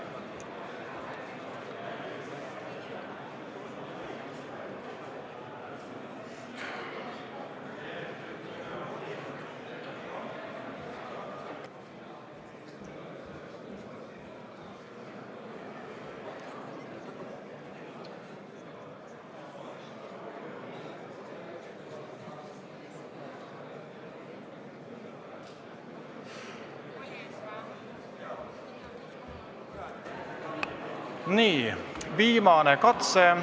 Nii, viimane katse.